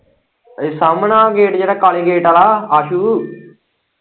ਸਾਹਮਣੇ ਗੇਟ ਜਿਹੜਾ ਕਾਲ਼ੇ ਗੇਟ ਆਲ਼ਾ ਆਸੂ।